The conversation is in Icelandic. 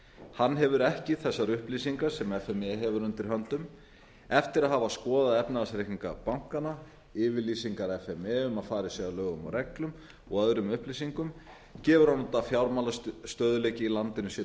hann hefur ekki þessar upplýsingar sem f m e hefur undir höndum eftir að hafa skoðað efnahagsreikninga bankanna yfirlýsingar f m e um að farið sé að lögum og reglum og öðrum upplýsingum gefur hún að fjármálastöðugleiki í landinu sé